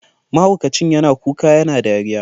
Mahaukacin yana kuka yana dariya.